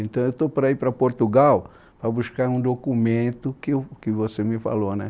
Então eu estou para ir para Portugal para buscar um documento que eu, que você me falou né